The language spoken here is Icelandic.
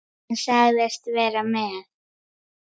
Hann sagðist vera með